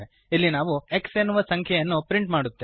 ಇಲ್ಲಿ ನಾವು x ಎನ್ನುವ ಸಂಖ್ಯೆಯನ್ನು ಪ್ರಿಂಟ್ ಮಾಡುತ್ತೇವೆ